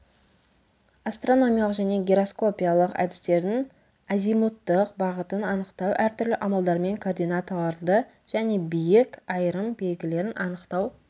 астрономиялық және гераскопиялық әдістердің азимуттық бағытын анықтау әртүрлі амалдармен координаталарды және биік айырым белгілерін анықтау